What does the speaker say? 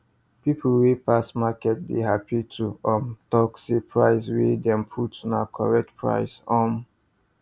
people wey pass market dey happy to um talk say price wey dem put na correct price um